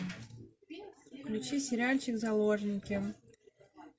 включи сериальчик заложники